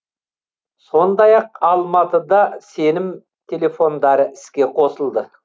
сондай ақ алматыда сенім телефондары іске қосылды